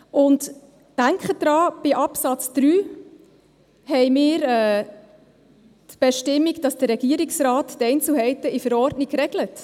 Denken Sie daran, dass in Absatz 3 die Bestimmung vorgesehen ist, dass der Regierungsrat die Einzelheiten in der Verordnung regelt.